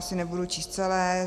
Asi nebudu číst celé.